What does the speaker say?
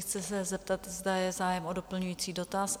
Chci se zeptat, zda je zájem o doplňující dotaz?